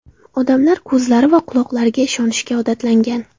Odamlar ko‘zlari va quloqlariga ishonishga odatlangan.